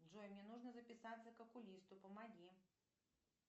джой мне нужно записаться к окулисту помоги